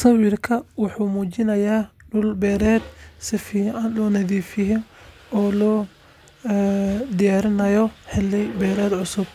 Sawirka waxumujinya dul beeret sufican lonathifrye oo lo diyarinayo xeli beeret cususb,